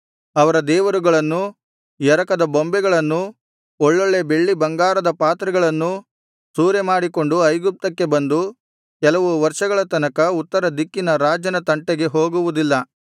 ಅವರ ದೇವರುಗಳನ್ನೂ ಎರಕದ ಬೊಂಬೆಗಳನ್ನೂ ಒಳ್ಳೊಳ್ಳೆ ಬೆಳ್ಳಿಬಂಗಾರದ ಪಾತ್ರೆಗಳನ್ನೂ ಸೂರೆ ಮಾಡಿಕೊಂಡು ಐಗುಪ್ತಕ್ಕೆ ಬಂದು ಕೆಲವು ವರ್ಷಗಳ ತನಕ ಉತ್ತರ ದಿಕ್ಕಿನ ರಾಜನ ತಂಟೆಗೆ ಹೋಗುವುದಿಲ್ಲ